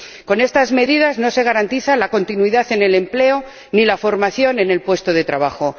Con estas medidas no se garantiza la continuidad en el empleo ni la formación en el puesto de trabajo